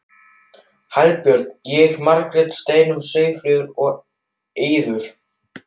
Hallbjörn, ég, Margrét, Steinunn, Sigríður og Eiður.